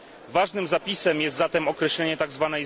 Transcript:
Ważnym zapisem jest zatem określenie tzw.